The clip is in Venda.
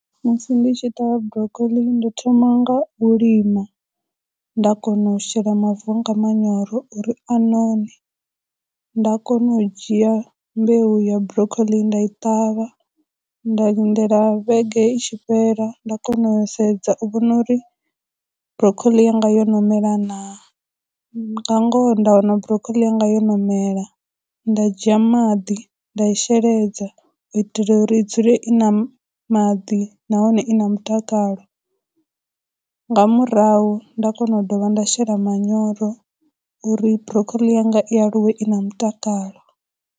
Musi ndi tshi ṱavha broccoli ndo thoma nga u lima, nda kona u shela mavu anga manyoro uri a none, nda kono u dzhia mbeu ya broccoli nda i ṱavha, nda lindela vhege i tshi fhela, nda kona u sedza u vhona uri broccoli yanga yo no mela na. Nga ngoho nda wana broccoli yanga yo no mela, nda dzhia maḓi nda i sheledza u itela uri i dzule i na maḓi nahone i na mutakalo, nga murahu nda kona u dovha nda shela manyoro uri broccoli yanga i aluwe i na mutakalo.